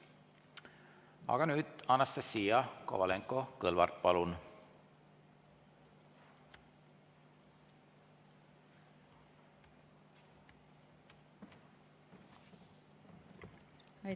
Aga nüüd, Anastassia Kovalenko‑Kõlvart, palun!